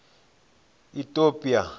itopia